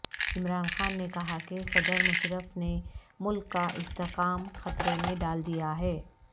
عمران نے کہا کہ صدر مشرف نے ملک کا استحکام خطرے میں ڈال دیا ہے